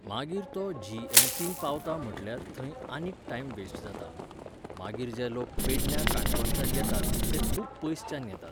मागीर तो G M C न पावता म्हणल्यार थंय आनीक टायम वेस्ट जाता. मागीर जे लोक पेडण्यां काणकोणच्यान येतात ते खूब पयसच्यान येतात